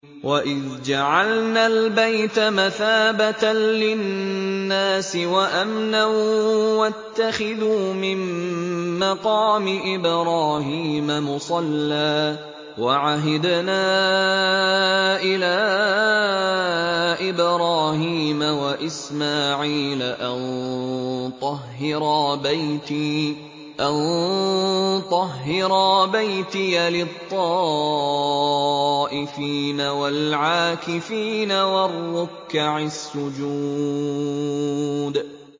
وَإِذْ جَعَلْنَا الْبَيْتَ مَثَابَةً لِّلنَّاسِ وَأَمْنًا وَاتَّخِذُوا مِن مَّقَامِ إِبْرَاهِيمَ مُصَلًّى ۖ وَعَهِدْنَا إِلَىٰ إِبْرَاهِيمَ وَإِسْمَاعِيلَ أَن طَهِّرَا بَيْتِيَ لِلطَّائِفِينَ وَالْعَاكِفِينَ وَالرُّكَّعِ السُّجُودِ